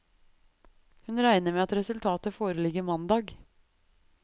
Hun regner med at resultatet foreligger mandag.